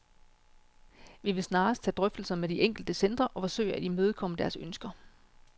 Vi vil snarest tage drøftelser med de enkelte centre og forsøge at imødekomme deres ønsker.